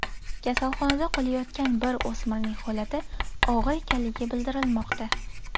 Kasalxonada qolayotgan bir o‘smirning holati og‘ir ekanligi bildirilmoqda.